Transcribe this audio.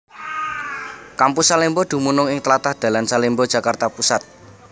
Kampus Salemba dumunung ing tlatah dalan Salemba Jakarta Pusat